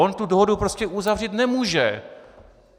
On tu dohodu prostě uzavřít nemůže.